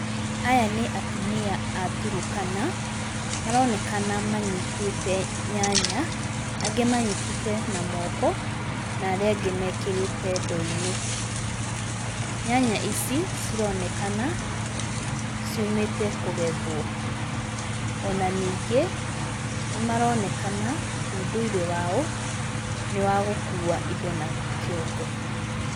Aya nĩ Atumia a Turukana. Maraonekana manyitĩte nyanya, angĩ manyitĩte na moko na arĩa angĩ mekĩrĩte ndoo-inĩ. Nyanya ici cironekana ciumĩte kũgethwo. Ona ningĩ, nĩ maronekana ũndũire wao nĩ wa gũkua indo na kĩongo.